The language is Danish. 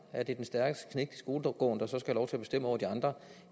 at det er den stærkeste knægt i skolegården der skal have lov til at bestemme over de andre